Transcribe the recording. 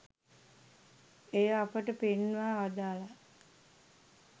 එය අපට පෙන්වා වදාළා